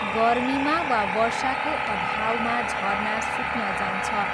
गर्मीमा वा वर्षाको अभावमा झरना सुक्न जान्छ।